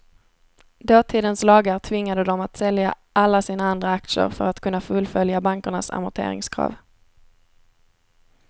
Dåtidens lagar tvingade dem att sälja alla sina andra aktier för att kunna fullfölja bankernas amorteringskrav.